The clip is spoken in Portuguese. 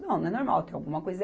Não, não é normal, tem alguma coisa.